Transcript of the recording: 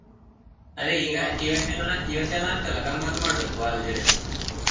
ಅದೇ ಈಗ ಈ ವರ್ಷಲಾ ಈ ವರ್ಷ last ಅಲ್ಲಾ ಗಮ್ಮತ್ತು ಮಾಡಬೇಕು college ಲ್ಲಿ.